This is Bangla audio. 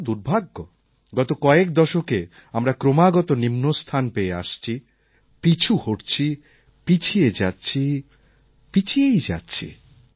কিন্তু দুর্ভাগ্য গত কয়েক দশকে আমরা ক্রমাগত নিম্নস্থান পেয়ে আসছি হেরে যাচ্ছি পিছু হটছি পিছিয়ে যাচ্ছি পিছিয়েই যাচ্ছি